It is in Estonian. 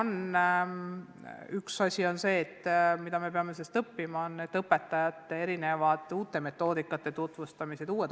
Üks asi, mida me peame sellest õppima, on see, et õpetajatele tuleb tutvustada uusi metoodikaid, uusi õpikäsitlusi.